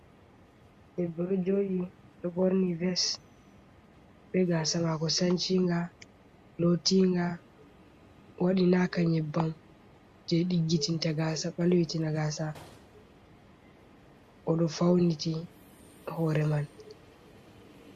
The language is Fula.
Ɗebbo ɗo joɗi, ɗo ɓorni ves be gasa maako sanchinga, lootinga, waɗi naka yebbam je ɗiggitina gasa, ɓalwitina gasa, o ɗo fauniti hore man.